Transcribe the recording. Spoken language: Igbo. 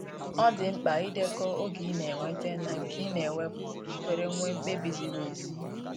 ọ di mkpa idekọ oge i na enweta na nke ị na wepụ ka iwere nwe mkpebi ziri ezi.